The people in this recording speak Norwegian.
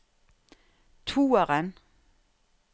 toeren